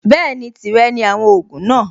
Bẹ́ẹ̀ni, tìrẹ ni àwọn ògùn náà.